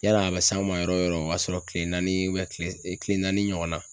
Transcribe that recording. Yala a bi s'an ma yɔrɔ o yɔrɔ, o y'a sɔrɔ kile naani kile naani ɲɔgɔn na